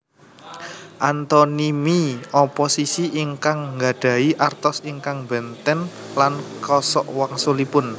Antonimi oposisi ingkang nggadhahi artos ingkang bènten lan kosokwangsulipun